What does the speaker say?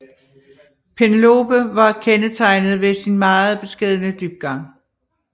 Penelope var kendetegnet ved sin meget beskedne dybgang